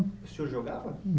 O senhor jogava?